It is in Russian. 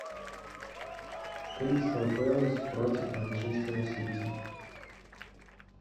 кристал пэлас против манчестера сити